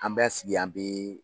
An bɛ sigi an bɛɛ.